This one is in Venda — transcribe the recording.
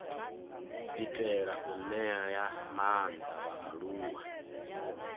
itela u ṅea maanḓa vhaaluwa